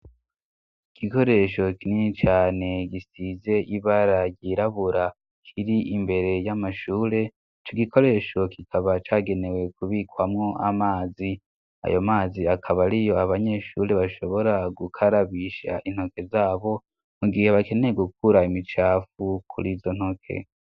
Igikoresho kinini caane gisize ibara ryirabura kiri imbere y'amashure, ico gikoresho kikaba cagenewe kubikwamo amazi. Ayo mazi akaba ariyo abanyeshure bashobora gukarabisha intoke zabo, mu gihe bakeneye gukura imicafu kurizo ntoke.